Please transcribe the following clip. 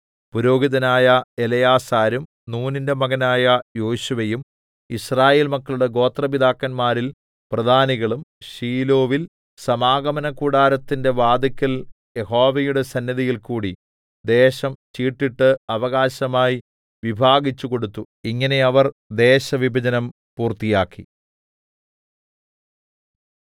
പുരോഹിതനായ എലെയാസാരും നൂനിന്റെ മകനായ യോശുവയും യിസ്രായേൽ മക്കളുടെ ഗോത്രപിതാക്കന്മാരിൽ പ്രധാനികളും ശീലോവിൽ സമാഗമനകൂടാരത്തിന്റെ വാതില്ക്കൽ യഹോവയുടെ സന്നിധിയിൽ കൂടി ദേശം ചീട്ടിട്ട് അവകാശമായി വിഭാഗിച്ചു കൊടുത്തു ഇങ്ങനെ അവർ ദേശവിഭജനം പൂർത്തിയാക്കി